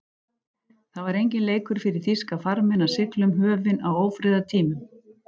Það var enginn leikur fyrir þýska farmenn að sigla um höfin á ófriðartímum.